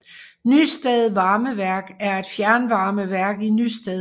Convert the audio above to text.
Nysted Varmeværk er et fjernvarmeværk i Nysted